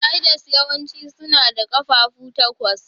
Spiders yawanci suna da ƙafafu takwas.